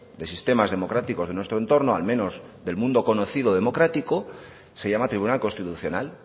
de sistemas democráticos de nuestro entorno al menos del mundo conocido democrático se llama tribunal constitucional